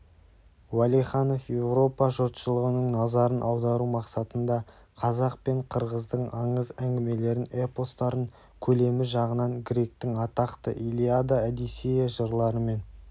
уәлиханов еуропа жұртшылығының назарын аудару мақсатында қазақ пен қырғыздың аңыз әңгімелерін эпостарын көлемі жағынан гректің атақты илиада одиссея жырларымен